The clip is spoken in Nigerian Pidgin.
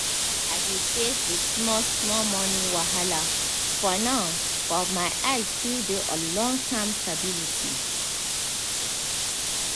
i dey face the small-small money wahala for now but my eyes still dey on long-term stability.